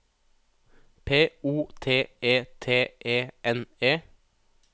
P O T E T E N E